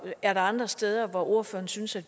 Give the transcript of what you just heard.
er der andre steder hvor ordføreren synes at